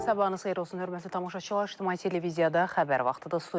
Sabahınız xeyir olsun hörmətli tamaşaçılar, İctimai televiziyada xəbər vaxtıdır.